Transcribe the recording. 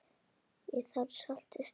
Ég þarf saltið strax.